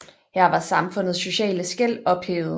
Her var samfundets sociale skel ophævet